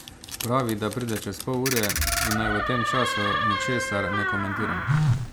Pravi, da pride čez pol ure in naj v tem času ničesar ne komentiram.